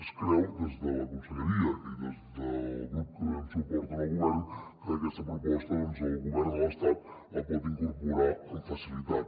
es creu des de la conselleria i des del grup que donem suport al govern que aquesta proposta el govern de l’estat la pot incorporar amb facilitat